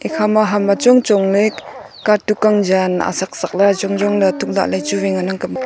ekha ma ham ang chong chong le katuk ang jan asak asak le ajong ajong le tuk lahle chu wai ngan ang kap ley